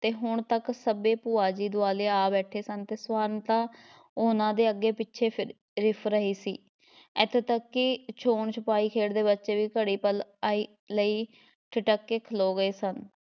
ਤੇ ਹੁਣ ਤੱਕ ਸਭੇ ਭੂਆ ਜੀ ਦੁਆਲੇ ਆ ਬੈਠੇ ਸਨ ਤੇ ਸਵਰਨ ਤਾਂ ਉਹਨਾਂ ਦੇ ਅੱਗੇ ਪਿੱਛੇ ਫਿਰ ਰਿਫ ਰਹੀ ਸੀ, ਇਥੋਂ ਤੱਕ ਕਿ ਛੂਹਣ ਛਪਾਈ ਖੇਡਦੇ ਬੱਚੇ ਵੀ ਘੜੀ ਪਲ ਆਈ ਲਈਂ ਠਿਠਕ ਕੇ ਖਲੋ ਗਏ ਸਨ।